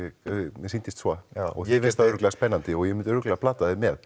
mér sýndist svo já þér finnst það örugglega spennandi og ég myndi örugglega plata þig með